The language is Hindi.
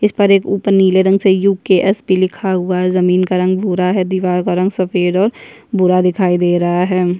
इस पर एक ऊपर निले रंग से यु के एस भी लिखा हुआ है जमीन का रंग भूरा है दिवार का रंग सफ़ेद और भूरा दिखाई दे रहा है।